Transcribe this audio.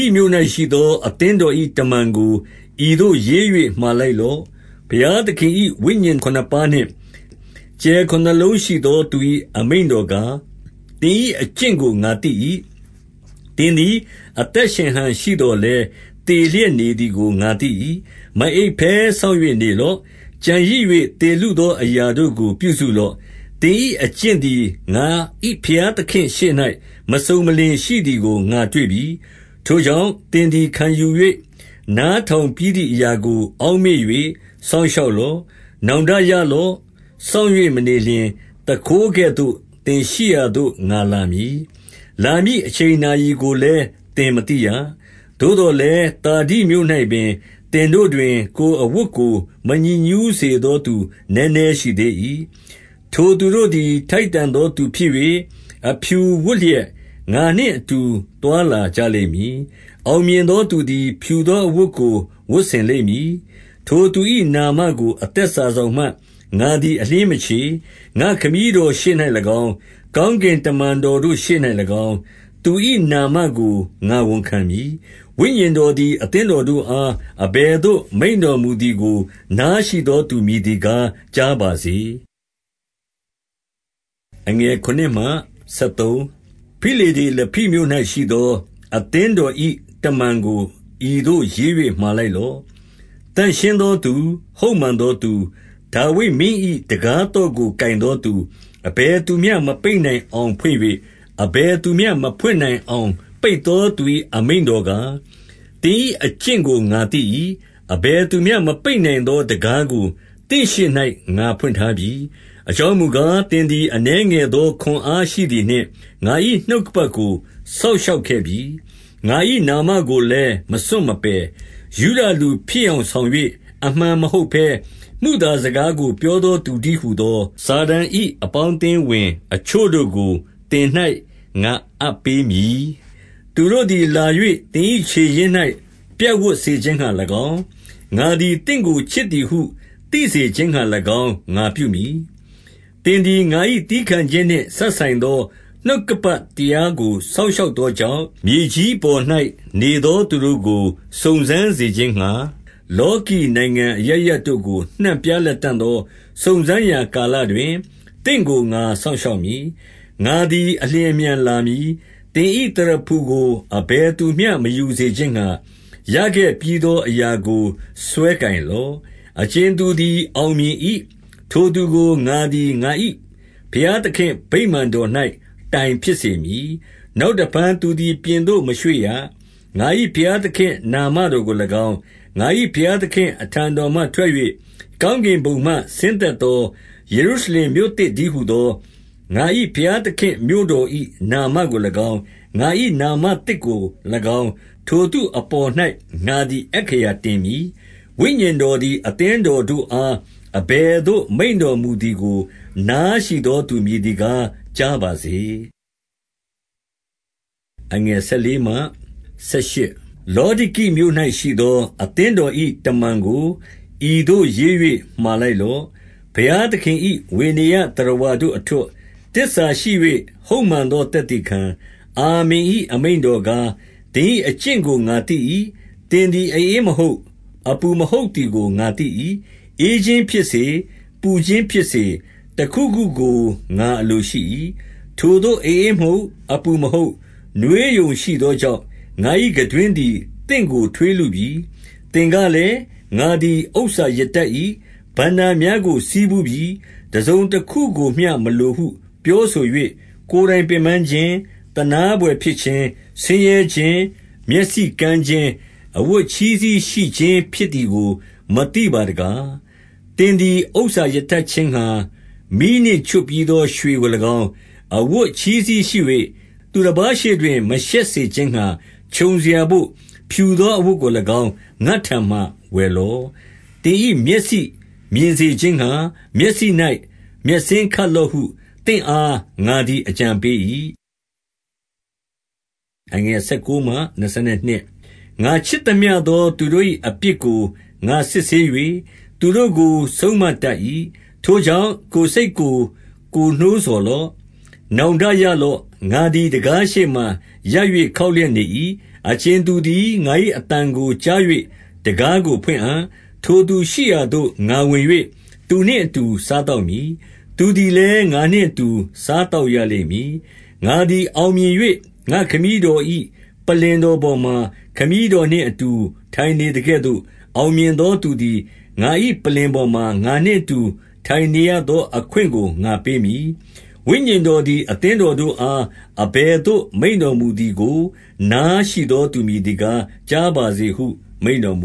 ိမြို့၌ရှိသောအသင်းတော်၏ တမန်ကို ဤသို့ရေး၍ မှာလိုက်လော့။ ဘုရားသခင်၏ ဝိညာဉ် ခုနစ်ပါးနှင့်ကြယ်ခုနစ်လုံး ရှိသောသူ၏အမိန့်တော်ကား၊ သင်၏အကျင့်ကိုငါသိ၏။ သင်သည် အသက်ရှင်ဟန်ရှိ သော်လည်း သေလျက်နေသည်ကို ငါသိ၏။ 2 မအိပ်ဘဲစောင့်၍နေလော့။ ကျန်ရစ်၍ သေလုသောအရာတို့ ကို ပြုစုလော့။ သင်၏အကျင့်သည် ငါ၏ဘုရားသခင်ရှေ့၌မစုံ မလင်ရှိသည်ကိုငါတွေ့ပြီ။ 3 ထိုကြောင့်၊ သင်သည်ခံယူ၍ နားထောင်ပြီးသည်အရာကို အောက်မေ့၍ စောင့်ရှောက်လော။ နောင်တရလော့။ စောင့်၍ မနေလျှင် သူခိုးကဲ့သို့ သင်ရှိရာသို့ ငါလာမည်။ လာမည့်အချိန်နာရီကိုလည်း သင်မသိရ။ 4 သို့သော်လည်း၊ သာဒိမြို့၌ပင် သင်တို့တွင် ကိုယ်အဝတ်ကို မညစ်ညူးစေသော သူနည်းနည်းရှိသေး ၏။ ထိုသူတို့သည် ထိုက်တန်သောသူဖြစ်၍၊ အဖြူ ဝတ်လျက် ငါနှင့်အတူသွားလာကြလိမ့်မည်။ အောင်မြင် သော သူသည် ဖြူသောအဝတ်ကို ဝတ်ဆင်လိမ့်မည်။ 5 ထိုသူ၏နာမကို အသက်စာစောင်မှ ငါသည် အလျှင်းမချေ။ ငါ့ခမည်းတော်ရှေ့၌၎င်း၊ ကောင်းကင် တမန်တော်တို့၌၎င်း သူ၏နာမကို ငါဝန်ခံမည်။ 6 ဝိညာဉ်တော်သည် အသင်းတော်တို့အား အဘယ်သို့ မိန့်တော်မူသည်ကို နားရှိသောသူမည်သည် ကား ကြားပါစေ။ 7 ဖိလဒေလဖိမြို့၌ရှိသော အသင်းတော်၏ တမန်ကိုဤသို့ရေး၍ မှာလိုက်လော့။ သန့်ရှင်းသောသူ၊ ဟုတ်မှန်သောသူ၊ ဒါဝိဒ်မင်း၏ တံခါးသော့ကို ကိုင်သော သူ၊ အဘယ်သူမျှ မပိတ်နိုင်အောင် ဖွင့်၍၊ အဘယ်သူမျှ မဖွင့်နိုင်အောင် ပိတ်သောသူ၏ အမိန့်တော်ကား။ 8 သင်၏အကျင့်ကိုငါသိ၏။ အဘယ်သူမျှ မပိတ် နိုင်သောတံခါး ကို သင့်ရှေ့၌ငါဖွင့်ထားပြီ၊ အကြောင်း မူကား၊ သင်သည်အနည်း ငယ်သောခွန်အားရှိသည်နှင့်၊ ငါ၏နှုတ်ကပတ်ကို စောင့်ရှောက်ခဲ့ပြီ။ 9 ငါ၏နာမကိုလည်း မစွန့်မပယ်။ ယုဒလူ ဖြစ် ယောင်ဆောင်၍ အမှန်မဟုတ်ဘဲ ၊ မုသာစကားကိုပြော သောသူတည်းဟူသော၊ စာတန်၏ အပေါင်းအသင်းဝင်သူ အချို့တို့ကို သင်၌ငါအပ်ပေးမည်။ သူတို့သည်လာ၍ သင်၏ခြေရင်း၌ပြပ်ဝပ်စေခြင်းငှါ၎င်း၊ ငါသည်သင့်ကို ချစ်သည်ဟု သိစေရခြင်းငှါ၎င်း ငါပြုမည်။ 10 သင်သည် ငါ၏သည်းခံခြင်းနှင့်စပ်ဆိုင်သော နှုတ်ကပတ် တရားကိုစောင့်ရှောက်သောကြောင့်၊ မြေကြီး အပေါ်၌ နေသောသူတို့ကို စုံစမ်းစေခြင်းငှါ၊ လောကီ နိုင်ငံအရပ်ရပ်တို့ကို နှံ့ပြားလတံ့သော စုံစမ်းရာ ကာလတွင်၊ သင့်ကိုငါစောင့်ရှောက်မည်။ 11 ငါသည်အလျင်အမြန်လာမည်။ သင်၏ သရဖူကို အဘယ်သူ မျှမယူစေခြင်းငှါ၊ ရခဲ့ပြီးသော အရာကို စွဲကိုင်လော့။ 12 အကြင်သူသည် အောင်မြင်၏။ ထိုသူကို ငါသည်ငါ၏ဘုရား သခင်ဗိမာန်တော်၌ တိုင်ဖြစ်စေမည်။ နောင်တဖန်သူသည်ပြင်သို့ မရွေ့ရ။ ငါ၏ ဘုရားသခင် နာမတော်ကို၎င်း၊ ငါ၏ဘုရားသခင့်အထံတော် မှထွက်၍၊ ကောင်းကင်ဘုံမှ ဆင်းသက်သောယေရှုရှလင်မြို့သစ် တည်းဟူသော၊ ငါ၏ဘုရားသခင်မြို့တော်၏ နာမကို၎င်း၊ ငါ၏နာမသစ်ကို၎င်း၊ ထိုသူအပေါ်၌ ငါသည် အက္ခရာတင်မည်။ 13 ဝိညာဉ်တော်သည် အသင်းတော်တို့အား အဘယ်သို့ မိန့်တော်မူသည်ကို နားရှိသော သူမည်သည် ကားကြားပါစေ။ 14 လောဒိကိမြို့၌ရှိသော အသင်းတော်၏ တမန် ကိုဤသို့ ရေး၍ မှာလိုက်လော့။ ဘုရားသခင်၏ ဝေနေယျသတ္တဝါတို့အထွဋ်၊ သစ္စာရှိ၍ ဟုတ်မှန်သော သက်သေခံ၊ အာမင်၏ အမိန့်တော်ကား၊ 15 သင်၏အကျင့်ကိုငါသိ၏။ သင်သည် အဧမဟုတ်၊ အပူမဟုတ်သည်ကို ငါသိ၏။ ဧခြင်းဖြစ်စေ။ ပူခြင်းဖြစ်စေ၊ တခုခုကို ငါအလိုရှိ၏။ 16 ထိုသို့အဧမဟုတ်၊ အပူမဟုတ်၊ နွေးရုံရှိသောကြောင့် ငါ၏ခံတွင်းသည် သင့်ကိုထွေးလုပြီ။ 17 သင်ကလည်း၊ ငါသည်ဥစ္စာရတတ်၏။ ဘဏ္ဍာများကိုဆည်းဖူးပြီး။ တစုံတခုကိုမျှမလိုဟုပြောဆို၍ ကိုယ်တိုင်ပင်ပန်းခြင်း၊ သနားဘွယ်ဖြစ်ခြင်း၊ ဆင်းရဲခြင်း၊ မျက်စိကန်းခြင်း၊ အဝတ်အချည်းစည်းရှိခြင်း ဖြစ်သည်ကို မသိပါတကား။ 18 သင်သည်ဥစ္စာရတတ်ခြင်းငှါ၊ မီးနှင့်ချွတ်ပြီးသောရွှေကို၎င်း၊ အဝတ်အချည်းစည်းရှိ၍၊ သူတပါး ရှေ့တွင် မရှက်စေခြင်းငှါ ခြုံစရာဘို့၊ ဖြူသောအဝတ်ကို၎င်း ငါ့ထံမှာဝယ်လော့။ သင်၏မျက်စိမြင်စေခြင်းငှါ၊ မျက်စိ၌မျက်စဉ်းခတ်လော့ဟု သင့်အားငါသည် အကြံပေး၏။ 19 ငါချစ်သမျှသော သူတို့၏အပြစ်ကိုငါစစ်ဆေး၍ သူတို့ကိုဆုံး မတတ်၏။ ထိုကြောင့် ကိုယ်စိတ်ကို ကိုယ်နှိုးဆော်လော့။ နောင်တရလော့။ 20 ငါသည်တံခါးရှေ့မှာရပ်၍ ခေါက်လျက်နေ၏။ အကြင်သူသည် ငါ၏အသံကို ကြား၍တံခါးကိုဖွင့်အံ့၊ ထိုသူရှိရာသို့ငါဝင်၍ သူနှင့်အတူ စားသောက်မည်။ သူသည်လည်းငါနှင့်အတူ စားသောက်ရလိမ့်မည်။ 21 ငါသည်အောင်မြင်၍ ငါ့ခမည်းတော်၏ ပလ္လင်တော်ပေါ်မှာ ခမည်းတော်နှင့်အတူထိုင်နေသကဲ့သို့၊ အောင်မြင်သော သူသည်ငါ၏ ပလ္လင်ပေါ်မှာ ငါနှင့်အတူ ထိုင်နေရသောအခွင့်ကိုငါပေးမည်။ 22 ဝိညာဉ်တော်သည် အသင်းတော်တို့အား အဘယ်သို့ မိန့်တော်မူသည်ကို နားရှိသောသူ မည်သည် ကား ကြားပါစေဟုမိန့်တော်မ